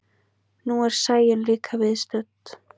Nú er Sæunn líka viðstödd.